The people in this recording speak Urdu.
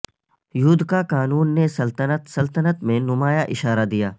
یودقا قانون نے سلطنت سلطنت میں نمایاں اشارہ دیا